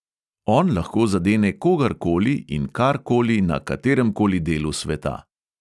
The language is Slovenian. On lahko zadene kogar koli in kar koli na katerem koli delu sveta.